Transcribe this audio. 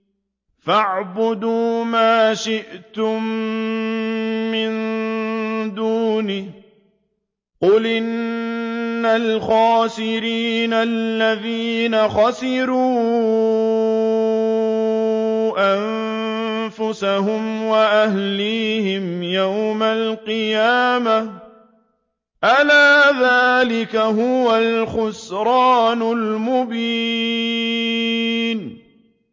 فَاعْبُدُوا مَا شِئْتُم مِّن دُونِهِ ۗ قُلْ إِنَّ الْخَاسِرِينَ الَّذِينَ خَسِرُوا أَنفُسَهُمْ وَأَهْلِيهِمْ يَوْمَ الْقِيَامَةِ ۗ أَلَا ذَٰلِكَ هُوَ الْخُسْرَانُ الْمُبِينُ